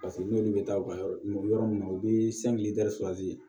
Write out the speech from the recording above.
Paseke n'olu bɛ taa u ka yɔrɔ min na u bɛ